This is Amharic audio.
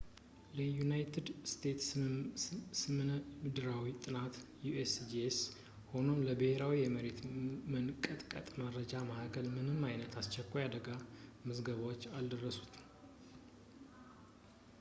ለዩናይትድ ስቴትስ ስነምድራዊ ጥናት usgs ሆነም ለብሄራዊ የመሬት መንቀጥቀጥ መረጃ ማዕከሉ ምንም አይነት አስቸኳይ የአደጋ ዘገባዎች አልደረሱም